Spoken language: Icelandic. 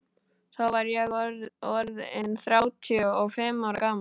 Þá var ég orð inn þrjátíu og fimm ára gamall.